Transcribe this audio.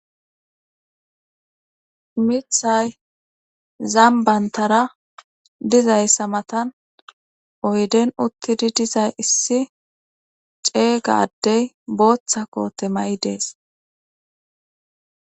mithay zambantara dizayssa matan oyden uttidi dizay issi ceeygaddey booththa koote may7i dees